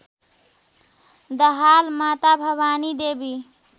दाहाल माता भवानीदेवी